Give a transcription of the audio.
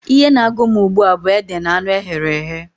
Ihe na-agụ m ugbua bụ ede na anụ eghere eghe.